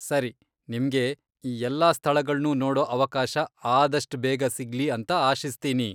ಸರಿ, ನಿಮ್ಗೆ ಈ ಎಲ್ಲಾ ಸ್ಥಳಗಳ್ನೂ ನೋಡೋ ಅವಕಾಶ ಆದಷ್ಟ್ ಬೇಗ ಸಿಗ್ಲಿ ಅಂತ ಆಶಿಸ್ತೀನಿ.